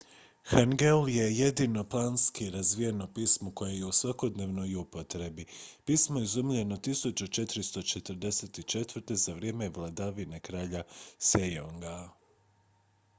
hangeul je jedino planski razvijeno pismo koje je u svakodnevnoj upotrebi. pismo je izumljeno 1444. za vrijeme vladavine kralja sejonga 1418. – 1450.